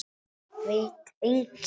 Veit enginn?